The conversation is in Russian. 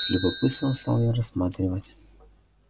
с любопытством стал я рассматривать